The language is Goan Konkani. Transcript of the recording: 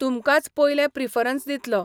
तुमकांच पयलें प्रिफरन्स दितलो.